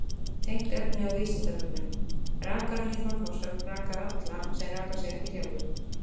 Tengt efni á Vísindavefnum: Rakarinn í Þorlákshöfn rakar alla sem raka sig ekki sjálfir.